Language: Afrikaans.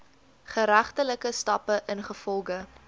geregtelike stappe ingevolge